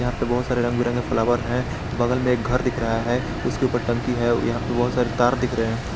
यहां पे बहुत सारे रंग बिरंगे फ्लावर है बगल में एक घर दिख रहा है उसके ऊपर टंकी है यहां पे बहुत सारे तार दिख रहे हैं।